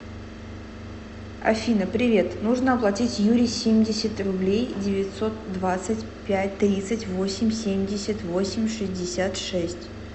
афина привет нужно оплатить юрий семьдесят рублей девятьсот двадцать пять тридцать восемь семьдесят восемь шестьдесят шесть